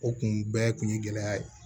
O kun bɛɛ kun ye gɛlɛya ye